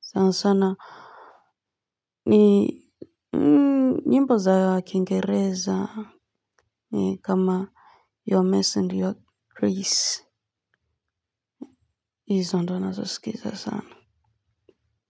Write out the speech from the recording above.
Sana sana. Ni nyimbo za kingereza. Kama your mess and your crease. Hizo ndo nazosikiza sana.